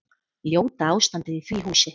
Ljóta ástandið í því húsi.